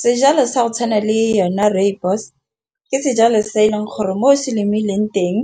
Sejalo sa go tshwana le yone rooibos. Ke sejalo se e leng gore mo se lemileng teng